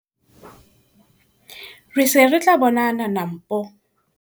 Re se re tla bonana Nampo!